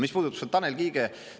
Mis puudutab seda Tanel Kiige …